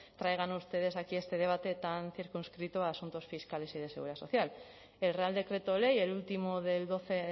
traigan ustedes aquí a este debate tan circunscrito a asuntos fiscales y de seguridad social el real decreto ley el último del doce